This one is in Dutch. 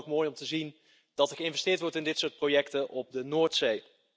Ik vind het dan ook mooi om te zien dat er geïnvesteerd wordt in dit soort projecten op de Noordzee.